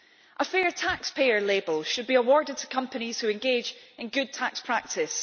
A fair taxpayer' label should be awarded to companies which engage in good tax practice.